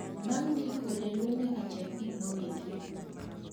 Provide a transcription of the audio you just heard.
bang ndiko janyuol nyaka cheki gik mondiki